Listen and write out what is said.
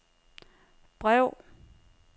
brev